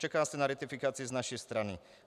Čeká se na ratifikaci z naší strany.